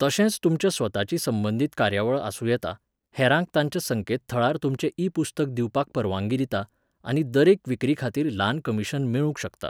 तशेंच तुमच्या स्वताची संबंदीत कार्यावळ आसूं येता, हेरांक तांच्या संकेतथळार तुमचें ई पुस्तक दिवपाक परवानगी दिता, आनी दरेक विक्रेखातीर ल्हान कमिशन मेळूंक शकता.